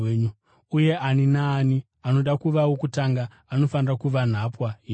uye ani naani anoda kuva wokutanga anofanira kuva nhapwa yenyu,